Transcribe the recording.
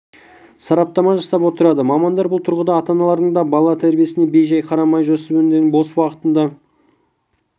сараптама жасап отырады мамандар бұл тұрғыда ата-аналардың да бала тәрбиесіне бей-жай қарамай жасөпірімдердің бос уақытында